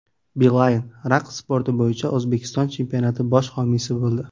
Beeline raqs sporti bo‘yicha O‘zbekiston chempionati bosh homiysi bo‘ldi.